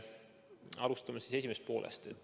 Alustame siis esimesest poolest.